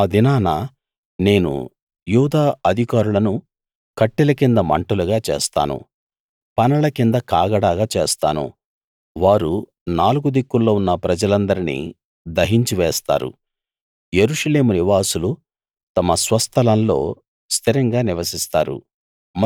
ఆ దినాన నేను యూదా అధికారులను కట్టెల కింద మంటగా చేస్తాను పనల కింద కాగడాగా చేస్తాను వారు నాలుగు దిక్కుల్లో ఉన్న ప్రజలందరినీ దహించివేస్తారు యెరూషలేము నివాసులు తమ స్వస్థలంలో స్థిరంగా నివసిస్తారు